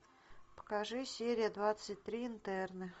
покажи серия двадцать три интерны